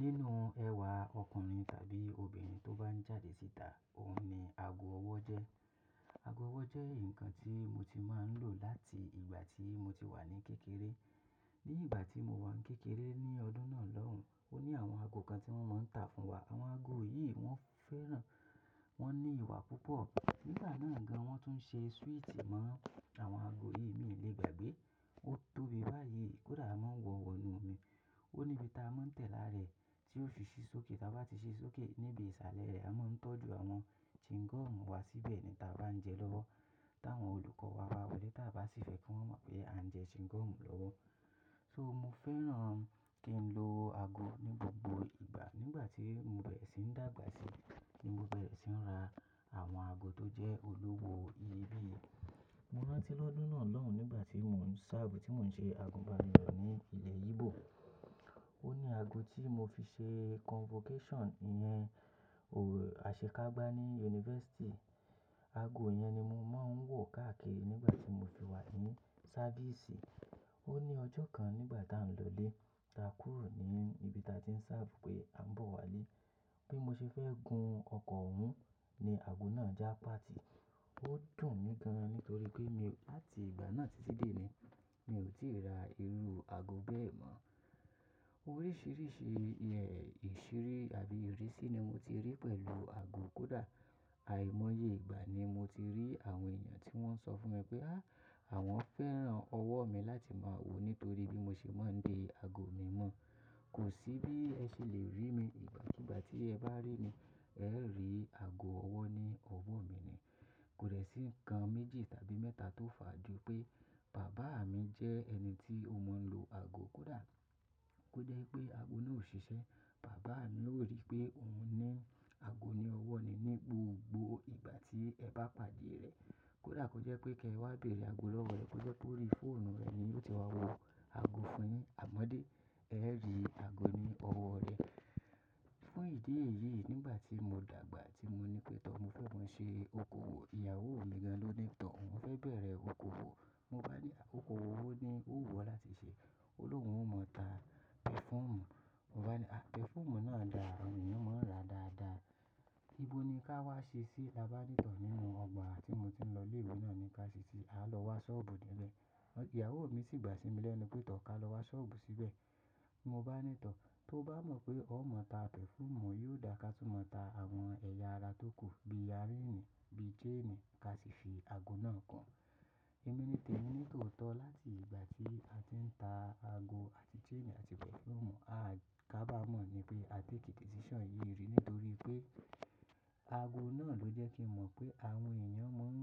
Nínú ẹ̀wà ọkùnrin tàbí obìnrin tó bá ń jáde síta, òun ni ago ọwọ́ jẹ́. Ago ọwọ́ jẹ́ nǹkan tí mo ti máa ń lò láti ìgbà tí mo ti wà ní kékeré. Ní ìgbà tí mo wà n kékeré ní ọdún náà lọ́hùn, ó ní àwọn ago kan tí wọ́n máa ń tà fún wa. Àwọn ago yìí wọ́n fẹ́ràn, wọ́n ní ẹwà púpọ̀. Nígbà náà gan, wọ́n tún ń ṣe swíìtì mọ́ àwọn ago yìí, mi ò lè gbàgbé. Ó tóbi báyìí, kódà a máa ń wọ wọ́nu omi. Ó ní ibi ta máa ń tẹ̀ lára rẹ̀ tí ó fi ṣí sókè. Tàbí bá ti ṣí sókè níbi ìsàlẹ̀ rẹ̀, a máa ń tọ́jú àwọn chewing gum wa síbẹ̀ ni ta bá ń jẹ lọ́wọ́. T'àwọn olùkọ́ wa bá wolẹ̀, ta bá sì fẹ́ kí wọ́n mọ̀ pé a ń jẹ chewing gum lọ́wọ́. So mo fẹ́ràn kí n lo ago ní gbogbo ìgbà. Nígbà tí mo bẹ̀rẹ̀ sí ń dàgbà sí, ni mo bẹ̀rẹ̀ sí ń ra àwọn ago tó jẹ́ olówó iyebíye. Mo rántí lọ́dún náà lọ́hùn nígbà tí mò ń ṣerve, tí mò ń ṣe àgùnbánirọ̀ ní ilẹ̀ Ígbò. Ó ní ago tí mo fi ṣe convocation ìyẹn, ò, àṣekágbá ní yunifásítì. Ago yẹn ni mo máa ń wọ̀ káàkiri nígbà tí mo fi wà ní service. Ó ní ọjọ́ kan nígbà tá ń lọlé, ta kúrò ní ibi ta ti ń ṣerve pé a ń bọ̀ wálé. Bí mo ṣe fẹ́ gun ọkọ̀ òun ni ago náà já páàtì. Ó dùn mí gan nítorí pé mi, láti ìgbà náà títí dé ní, mi ò tí ra irú ago bẹ́ẹ̀ mọ́. Oríṣìíríṣìí iye ìṣiri àbí ìrísí ni mo ti rí pẹ̀lú ago. Kódà àìmọye ìgbà ni mo ti rí àwọn èèyàn tí wọ́n sọ fún mi pé, "áàh! Àwọn fẹ́ràn ọwọ́ mi láti máa wòó nítorí bí mo ṣe máa ń de ago mi mọ́." Kò sí bí ẹ ṣe lè rí mi. Ìgbà kúùgbà tí ẹ bá rí mi, ẹ́ rí ago ọwọ́ ní ọwọ́ mi ni. Kò de sí nǹkan méjì tàbí mẹ́ta tó fà á ju pé bàbá mi jẹ́ ẹni tí ó mọ̀ ń lo ago. Kódà kó jẹ́ ipé ago náà ò ṣiṣẹ́, bàbá mi ó rí pé òun ní ago ní ọwọ́ ni ní gbogbo ìgbà tí ẹ bá pàdé rẹ̀. Kódà kó jẹ́ pé kí ẹ wá béèrè ago lọ́wọ́ rẹ̀, kó jẹ́ pé ó rí fóònù rẹ̀ ni yiò ti wá wo ago fún yin. Àmọ́ dé, ẹ rí ago ní ọwọ́ rẹ. Fún ìdí èyí, nígbà tí mo dàgbà tí mo ní pé, "tọ̀, mo fẹ́ máa ṣe okòwò." Ìyàwó mi gan ló ní, "tọ̀, oun fẹ́ bẹ̀rẹ̀ okòwò." Mo bá ní, "okòwò wo ni ó wù ọ́ láti ṣe?" Oni ohùn ó mọ̀ ọ́ ta pẹ̀fúùmù. Mo bá ní, "à, pẹ̀fúùmù náà dára, àwọn èèyàn máa ń rà dáadáa. Íbo ni ká wá ṣe sí i?" La bá ní tọ̀ nínú ọgbà tí mo ti ń lọ ilé ìwé náà ni, "ká ṣe sí i, a lọ wá ṣọ́ọ̀bù níbẹ̀." Ìyàwó mi sì gbà sí mi lẹ́nu pé, "tọ̀ ká lọ wá ṣọ́ọ̀bù síbẹ̀." Mo bá ní, "tọ̀, tó bá mọ̀ pé ó mọ̀ ta pẹ̀fúùmù, yiò dá ká tún mọ̀ ta àwọn ẹ̀yà ara tó kù bí yarínì, bí chain ká sì fi ago náà kun." Ẹ̀mi ni tèmi nítòótọ́, láti ìgbà tí a ti ń ta ago àti chain àti pẹ̀fúùmù, a, ká bá mọ̀ ni pé a take decision yìí rí nítorí pé ago náà ló jẹ́ kí n mọ̀ pé àwọn èèyàn máa ń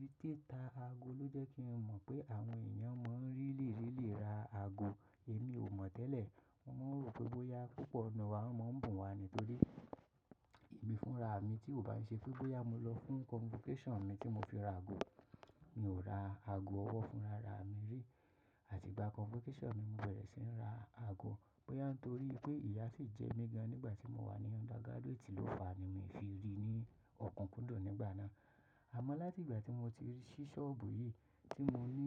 rí títa ago ló jẹ́ kí n mọ̀ pé àwọn èèyàn máa ń really really ra ago. Èmi ò mọ̀ tẹ́lẹ̀. Wọ́n máa ń rò pé bóyá púpọ̀ nù wa mo máa ń bùn wa nítorí ẹ̀mí fúnra mi tí ò bá ṣe bóyá mo lọ fún convocation mi tí mo fi ra ago. Mi ò ra ago ọwọ́ fún rara mi rí àti ìgbà convocation mi mo bẹ̀rẹ̀ sí ń ra ago. Bóyá nítorí pé ìyá sì jẹ́ mi gan nígbà tí mo wà ní undergraduate ló fà á ni mi fi rí ní okúnkundùn nígbà náà. Àmọ́ láti ìgbà tí mo ti ṣí ṣọ́ọ̀bù yìí tí mo ní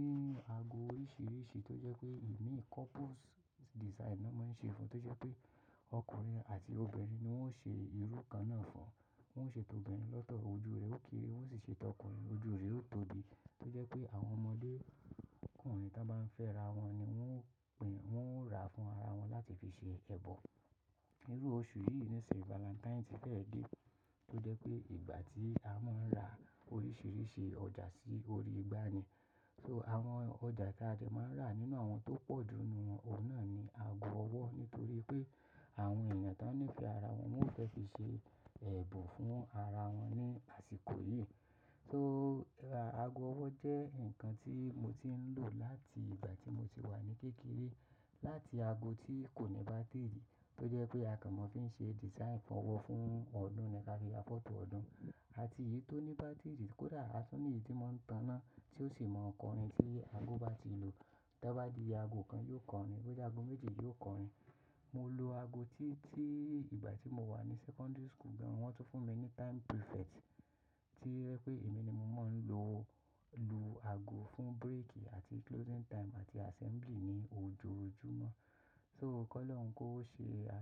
ago oríṣìíríṣìí tó jẹ́ pé imi couples design náà máa ń ṣe fún, tó jẹ́ pé ọkùnrin àti obìnrin ni wọ́n ṣe irú kan náà fún. Wọ́n ṣe tọ́ obìnrin lọ́tọ̀ ojú rẹ̀ ó keere, wọ́n sì ṣe tọ́ ọkùnrin ojú rẹ̀ ó tóbi. Tó jẹ́ pé àwọn ọmọdékùnrin tán bá ń fẹ́ra wọn ni wọ́n ó pìn, wọ́n ó ra fún ara wọn láti fi ṣe ẹ̀bọ̀. Irú oṣù yìí ni ìsìn Valentin ti fẹ́ dé. Tó jẹ́ pé ìgbà tí a máa ń ra oríṣìíríṣìí ọjà sí orí igbá ni. So àwọn ọjà tí a dè máa ń rà nínú àwọn tó pọ̀jù nù, òun náà ni ago ọwọ́ nítorí pé àwọn èèyàn tó ń nífẹ̀ẹ́ ara wọn ni wọ́n fẹ́ fi ṣe ẹ̀bùn fún ara wọn ní àsìkò yìí. So ago ọwọ́ jẹ́ nǹkan tí mo ti ń lò láti ìgbà tí mo ti wà ní kékeré. Láti ago tí kò ní bátíìrì, tó jẹ́ pé a kàn mó fi ń ṣe design fún ọwọ́ fún ọdún ni ká fi ya fọ́tò ọdún àti èyí tó ní bátíìrì. Kódà a tún ní èyí tí máa ń tan iná tí ó sì máa kọrin tí ago bá ti lu. Tí a bá di ago kan yiò kọrin, bóyá ago méjì yio kọrin. Mo lo ago títí ìgbà tí mo wà ní sẹ́kọ́ndírì school gan. Wọ́n tún fún mi ní time prefect tí o jẹ́ pé èmi ni mo máa ń lo lu ago fún break àti closing time àti assembly ní ojoojúmọ́. So kọ́ Ọlọ́run kí ó ṣe.